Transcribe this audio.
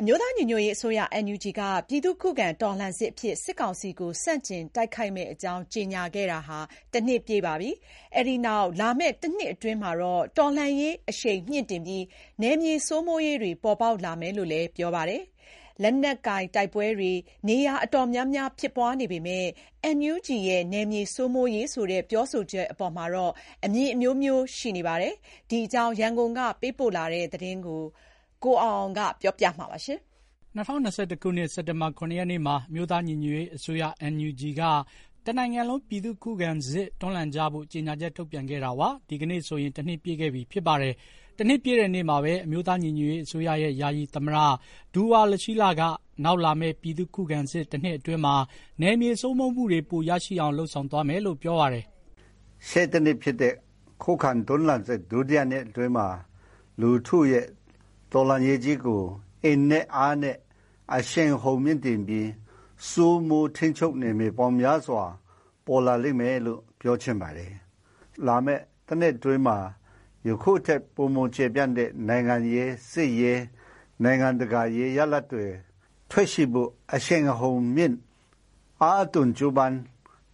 အမျိုးသားညီညွတ်ရေးအစိုးရ NUG က ပြည်သူ့ခုခံတော်လှန်စစ်အဖြစ် စစ်ကောင်စီကို ဆန့်ကျင်တိုက်ခိုက်မယ့်အကြောင်း ကြေညာတာ ၁ နှစ်ပြည့်ပြီးတဲ့နောက် လာမယ့် ၁ နှစ်အတွင်း တော်လှန်ရေးအရှိန်မြှင့်တင်ပြီး နယ်မြေစိုးမိုးရေးတွေ ပေါ်ပေါက်လာမယ်လို့ ပြောပါတယ်။ လက်နက်ကိုင်တိုက်ပွဲတွေ နေရာ တော်တော်များများ ဖြစ်ပွားနေပေမယ့် NUG ရဲ့ နယ်မြေစိုးမိုးရေးဆိုတဲ့ ပြောဆိုချက်အပေါ် အမြင်အမျိုးမျိုးရှိနေပြီး တိုးတက်မှုမရှိဘူးလို့ သုံးသပ်တာတွေလည်း ရှိပါတယ်။ ဒီအကြောင်း ရန်ကုန်ကပေးပို့လာတဲ့ သတင်းကို ကိုအောင်အောင်က တင်ပြပေးထားပါတယ်။ ၂၀၂၁ ခုနှစ် စက်တင်ဘာ ၇ ရက်နေ့မှာ အမျိုးသားညီညွတ်ရေးအစိုးရ NUG က တနိုင်ငံလုံး ပြည်သူ့ခုခံစစ်တွန်းလှန်ကြဖို့ ကြေညာချက်ထုတ်ပြန်ခဲ့တာ ဒီကနေ့ဆိုရင် ၁ နှစ်ပြည့်ခဲ့ပြီဖြစ်ပါတယ်။ ၁ နှစ်ပြည့်တဲ့နေ့မှာပဲ အမျိုးသားညီညွတ်ရေး အစိုးရရဲ့ ယာယီသမ္မတ ဒူဝါလရှီးလက နောက်လာမယ့် ပြည်သူ့ခုခံစစ် ၁ နှစ်အတွင်းမှာ နယ်မြေစိုးမိုးမှုတွေ ပိုရရှိအောင်လုပ်ဆောင်သွားမယ်လို့ ပြောဆိုပါတယ်။ “ရှေ့ ၁ နှစ်ဖြစ်တဲ့ ခုခံတွန်းလှန်စစ် ဒုတိယနှစ်အတွင်းမှာ လူထုရဲ့တော်လှန်ရေးကြီးကို အင်နဲ့အားနဲ့ အရှိန်အဟုန်မြှင့်တင်ပြီး စိုးမိုးထိန်းချုပ်နယ်မြေပေါင်းများစွာပေါ်လာလိမ့်မယ်လို့ ပြောချင်ပါတယ်။ လာမယ့် ၁ နှစ်အတွင်းမှာ ယခုထက်ပိုမိုတဲ့ နိုင်ငံရေး၊ စစ်ရေး၊ နိုင်ငံတကာအရေး ရလဒ်တွေ ထွက်ရှိဖို့ အရှိန်အဟုန်မြှင့် အားသွန်းကြိုးပမ်း